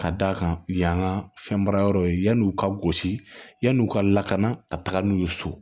Ka d'a kan yan ka fɛn baara yɔrɔ ye yani u ka gosi yan'u ka lakana ka taga n'u ye so